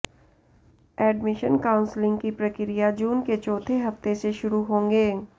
admission counselling की प्रक्रिया जून के चौथे हफ्ते में शुरू होंगे